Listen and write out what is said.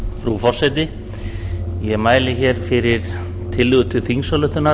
frú forseti ég mæli hér fyrir tillögu til þingsályktunar